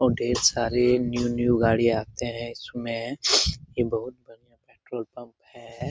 और ढ़ेर सारे न्यू न्यू गाड़ियाँ आते है इसमें यह बहुत बढ़िया पेट्रोल पंप है।